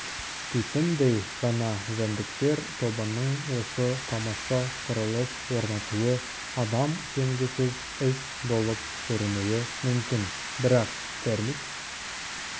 титімдей ғана жәндіктер тобының осы тамаша құрылыс орнатуы адам сенгісіз іс болып көрінуі мүмкін бірақ термит